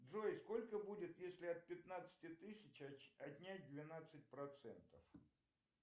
джой сколько будет если от пятнадцати тысяч отнять двенадцать процентов